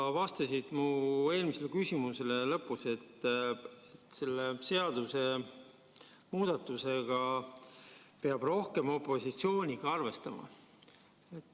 Sa vastasid mu eelmisele küsimusele lõpus, et selle seadusemuudatuse tulemusel peab rohkem opositsiooniga arvestama.